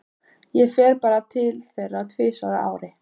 Ég fer bara til þeirra tvisvar á ári.